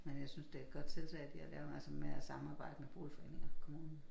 Men jeg synes det et godt tiltag de har lavet altså med at samarbejde med boligforeninger kommunen